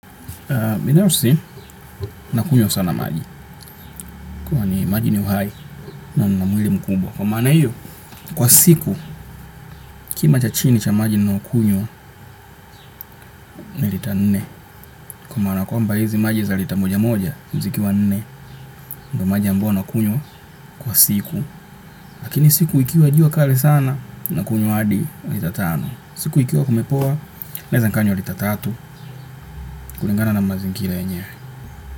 Binafsi, nakunywa sana maji. Kwani maji ni uhai, na nina mwili mkubwa. Kwa maana hiyo, kwa siku, kima cha chini cha maji ninayokunywa, ni lita nne. Kwa maana kwamba hizi maji za lita moja moja, zikiwa nne. Kwahyo maji ambayo nakunywa, kwa siku. Lakini siku ikiwa jua kali sana, nakunywa hadi, lita tano. Siku ikiwa kumepoa, naweza nikanywa lita tatu, kulingana na mazingira yenyewe.